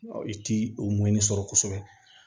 I ti o ɲɛɲini sɔrɔ kosɛbɛ